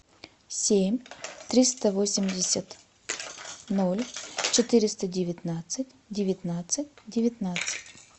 семь триста восемьдесят ноль четыреста девятнадцать девятнадцать девятнадцать